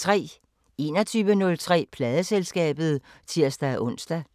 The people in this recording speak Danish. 21:03: Pladeselskabet (tir-ons)